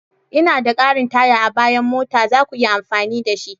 Ina da ƙarin taya a bayan mota, za ku iya amfani da shi.